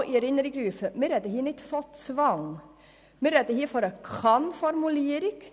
Ich erinnere daran, dass wir nicht von Zwang sprechen, sondern von einer Kann-Formulierung.